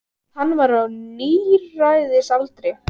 Hann var á níræðisaldri.